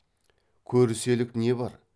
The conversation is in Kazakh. көріселік не бар